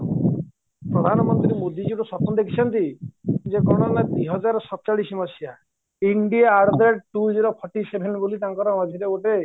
ପ୍ରଧାନମନ୍ତ୍ରୀ ମୋଦିଜୀର ସ୍ୱପ୍ନ ଦେଖିଛନ୍ତି ଯେ ଗଣନା ଦୁଇହଜାରସତଚାଲିଛି India at the rate two zero forty seven ବୋଲି ତାଙ୍କର ଅନ୍ୟ ଗୋଟେ